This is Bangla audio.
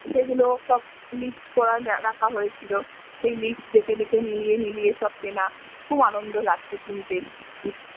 সেইগুলো সব লিস্ট করে রাখা হয়েছিল সেই লিস্ট দেখে দেখে মিলিয়ে মিলিয়ে সব কেনা খুব আনন্দ লাগতো কিনতে।